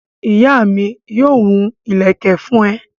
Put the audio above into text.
Ìyá mi yóò hun ìlẹ́kẹ̀ fún ẹ